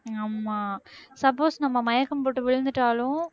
ஆமா suppose நம்ம மயக்கம் போட்டு விழுந்துட்டாலும்